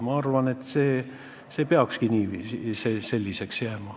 Ma arvan, et see peakski niiviisi jääma.